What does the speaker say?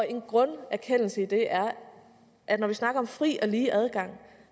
en grunderkendelse i det er at når vi snakker om fri og lige adgang